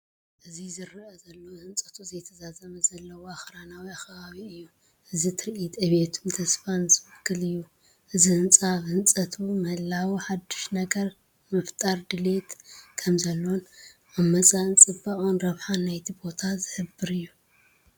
እዙይ ዝራኣይ ዘሎ ህንፀቱ ዘይተዛዘመ ዘለዎ ኣኽራናዊ ከባቢ እዩ። እዚ ትርኢት ዕብየትን ተስፋን ዝውክል እዩ። እቲ ህንጻ ኣብ ህንጸት ምህላዉ ሓድሽ ነገር ንምፍጣር ድሌት ከምዘሎን ኣብ መጻኢ ጽባቐን ረብሓን ናይቲ ቦታን ዝሕብር እዩ።